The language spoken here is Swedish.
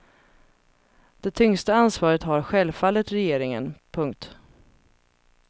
Det tyngsta ansvaret har självfallet regeringen. punkt